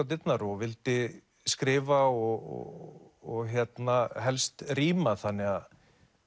dyrnar og vildi skrifa og helst ríma þannig að